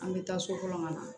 An bɛ taa so kɔnɔ ka na